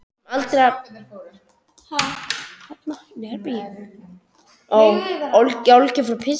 Sem aldrei hafa sést nema einu sinni.